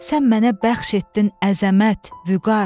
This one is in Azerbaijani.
Sən mənə bəxş etdin əzəmət, vüqar.